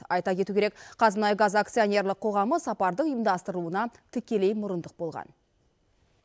айта кету керек қазмұнайгаз акционерлік қоғамы сапардың ұйымдастырылуына тікелей мұрындық болған